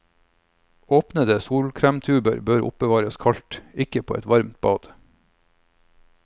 Åpnede solkremtuber bør oppbevares kaldt, ikke på et varmt bad.